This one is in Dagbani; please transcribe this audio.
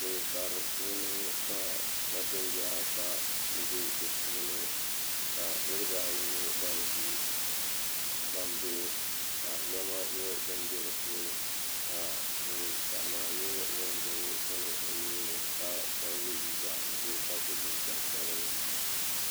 Kuli karilini ka nachimbihi ata puuni niriba ayi n nyɛ ban ʒi gbambihi ka niɛma nyɛ fin be dipuuni ka ŋun pahi maa nyɛ ŋun gbibi bini o nuuni ka chen ye liiga ʒee ka so jinjiɛm sabinli.